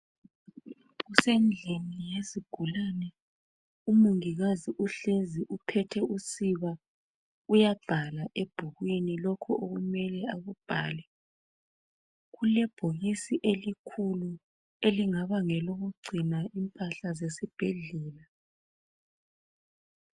kusendlini yezigulani umongikazi uhlezi uphethe usiba uyabhala ebhukwini lokhu okumele akubhale kulebhokisi elikhulu elingaba ngelokugcina impahla zesibhedlela